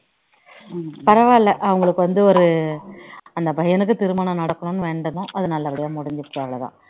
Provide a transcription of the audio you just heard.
பரவாயில்ல அவங்களுக்கு வந்து ஒரு அந்த பையனுக்கு திருமணம் நடக்கணும்னு வேண்டினோம் அது நல்ல படியா முடிஞ்சிருச்சி அதான் அக்காவோட ஆசை april ல எப்படின்னா முடிச்சிடனும்னு